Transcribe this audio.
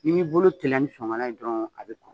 I b'i bolo teliya ni ye dɔrɔn a bɛ